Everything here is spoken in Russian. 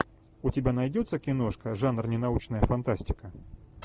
у тебя найдется киношка жанр ненаучная фантастика